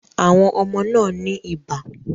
Àwọn ọmọ náà ní ibà